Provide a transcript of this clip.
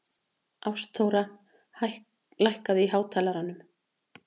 Ástþóra, lækkaðu í hátalaranum.